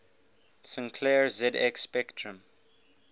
sinclair zx spectrum